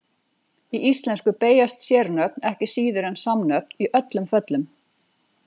Í íslensku beygjast sérnöfn ekki síður en samnöfn í öllum föllum.